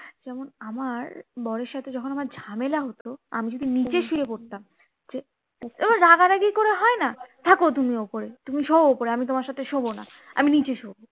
যেমন আমার বরের সাথে আমার ঝামেলা হতো আমি যদি নিচে শুয়ে পড়তাম এবার রাগারাগি করে হয় না থাকো তুমি ওপরে শোও ওপরে আমি তোমার সাথে শোবো না আমি নিচে শোবো